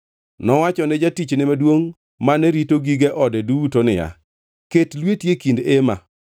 Nowacho ne jatichne maduongʼ mane rito gige ode duto niya, “Ket lweti e kind ema.